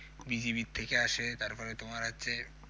BGB এর থেকে আসে তারপরে তোমার যে